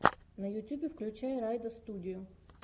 на ютьюбе включай райдостудию